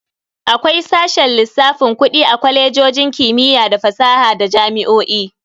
Akwai sashen lissafin Kudi a Kwalejojin kimiyya da fasaha da jami'o'i.